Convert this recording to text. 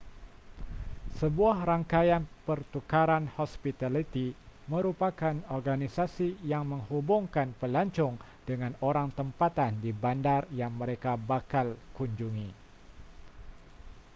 sebuah rangkaian pertukaran hospitaliti merupakan organisasi yang menghubungkan pelancong dengan orang tempatan di bandar yang mereka bakal kunjungi